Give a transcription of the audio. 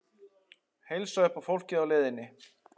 Heilsa upp á fólkið í leiðinni?